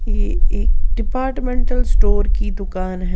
ये एक departmental store की दुकान है।